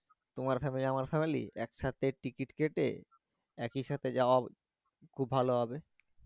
তোমার family আমার family একসাথে ticket কেটে একি সাথে যাওয়া খুব ভালো হবে